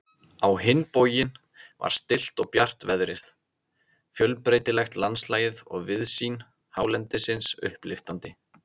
Á hinn bóginn var stillt og bjart veðrið, fjölbreytilegt landslagið og víðsýni hálendisins upplyftandi.